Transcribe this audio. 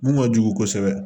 Mun ka jugu kosɛbɛ